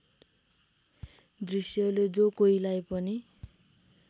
दृश्यले जो कोहीलाई पनि